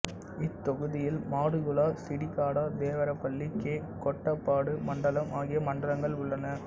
இத்தொகுதியில் மாடுகுலா சீடிகாடா தேவரபள்ளி கே கோட்டபாடு மண்டலம் ஆகிய மண்டலங்கள் உள்ளன